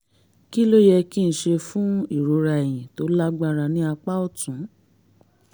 kí ló yẹ kí n ṣe fún ìrora ẹ̀yìn tó lágbára ní apá ọ̀tún?